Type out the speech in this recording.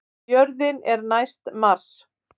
Jörðin er næst Mars!